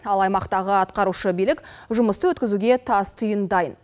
ал аймақтағы атқарушы билік жұмысты өткізуге тас түйін дайын